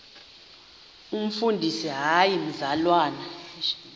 umfundisi hayi mzalwana